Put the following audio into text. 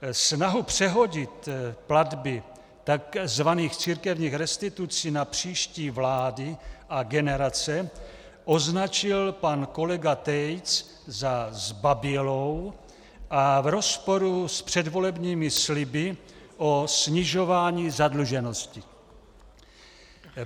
Snahu přehodit platby takzvaných církevních restitucí na příští vlády a generace označil pan kolega Tejc za zbabělou a v rozporu s předvolebními sliby o snižování zadluženosti.